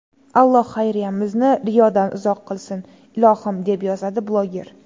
Alloh xayriyamizni riyodan uzoq qilsin, ilohim”, deb yozadi bloger.